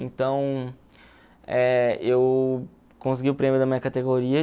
Então, eh eu consegui o prêmio da minha categoria.